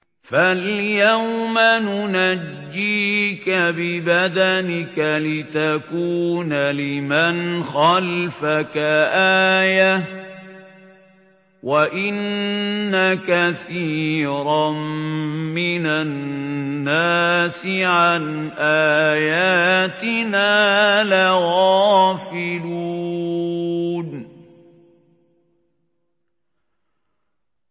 فَالْيَوْمَ نُنَجِّيكَ بِبَدَنِكَ لِتَكُونَ لِمَنْ خَلْفَكَ آيَةً ۚ وَإِنَّ كَثِيرًا مِّنَ النَّاسِ عَنْ آيَاتِنَا لَغَافِلُونَ